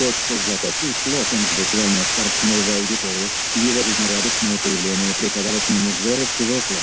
златопуст локонс буквально впорхнул в аудиторию его жизнерадостное появление приковало к нему взоры всего класса